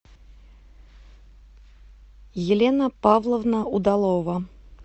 елена павловна удалова